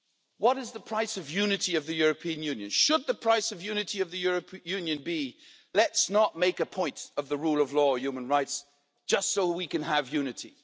What is the price of unity of the European Union? Should the price of unity of the European Union be let's not make a point of the rule of law and human rights just so we can have unity'?